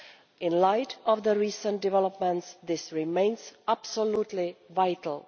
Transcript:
In the light of recent developments this remains absolutely vital.